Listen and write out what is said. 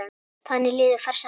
Þannig liðu farsæl ár.